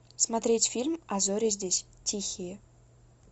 смотреть фильм а зори здесь тихие